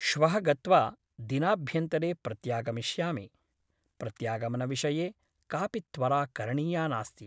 श्वः गत्वा दिनाभ्यन्तरे प्रत्यागमिष्यामि । प्रत्यागमनविषये कापि त्वरा करणीया नास्ति ।